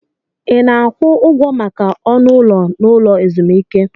Ị na-akwụ ụgwọ maka ọnụ ụlọ n'ụlọ ezumike?